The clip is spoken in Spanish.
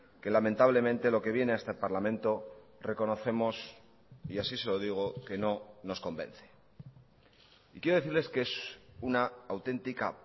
que lamentablemente lo que viene a este parlamento reconocemos y así se lo digo que no nos convence y quiero decirles que es una auténtica